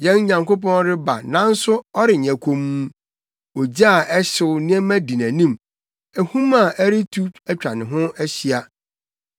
Yɛn Nyankopɔn reba nanso ɔrenyɛ komm; ogya a ɛhyew nneɛma di nʼanim, ahum a ɛretu atwa ne ho ahyia.